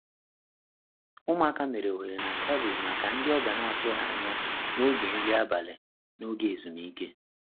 Ụmụaka mere ohere na tebụlu maka ndị ọbịa na-atụghị anya n'oge nri abalị n'oge ezumike.